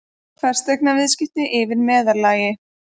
Fasteignaviðskipti yfir meðallagi